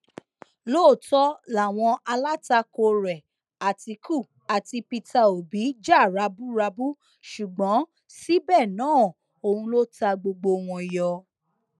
lóòótọ làwọn alátakò rẹ àtìkù àti peter òbí jà raburabu ṣùgbọn síbẹ náà òun ló ta gbogbo wọn yọ